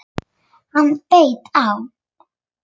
Hann beit á!